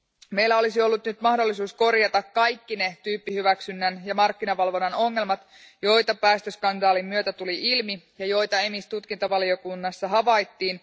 Meillä olisi ollut nyt mahdollisuus korjata kaikki ne tyyppihyväksynnän ja markkinavalvonnan ongelmat, joita päästöskandaalin myötä tuli ilmi ja joita EMIS tutkintavaliokunnassa havaittiin.